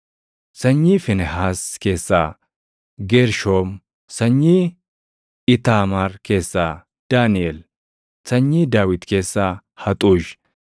Sanyii Fiinehaas keessaa Geershoom; sanyii Iitaamaar keessaa Daaniʼel; sanyii Daawit keessaa Haxuush